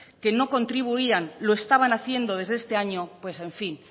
que no contribuían lo estaban haciendo desde este año pues en fin